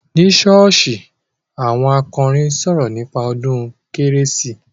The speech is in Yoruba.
Ní ṣọ́ọ́ṣì, àwọn akọrin sọ̀rọ̀ nípa ọdún kérésì.